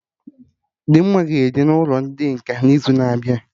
Dimma ga-eje n'ụlọ ndị nkà n'izu na-abịa